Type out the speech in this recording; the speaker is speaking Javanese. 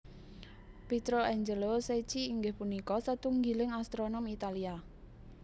Pietro Angelo Secchi inggih punika satunggiling astronom Italia